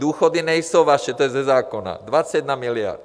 Důchody nejsou vaše, to je ze zákona, 21 miliard.